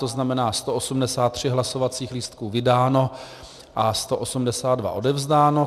To znamená, 183 hlasovacích lístků vydáno a 182 odevzdáno.